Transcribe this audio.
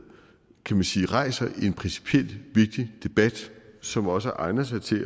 kan man sige rejser en principielt vigtig debat som også egner sig til at